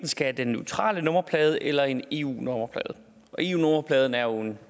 skal have den neutrale nummerplade eller en eu nummerplade eu nummerpladen er jo og